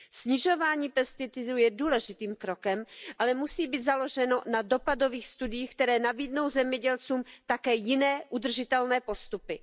Snižování pesticidů je důležitým krokem, ale musí být založeno na dopadových studiích, které nabídnou zemědělcům také jiné udržitelné postupy.